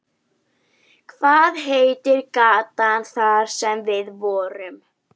Hvað heitir gatan þar sem við vorum?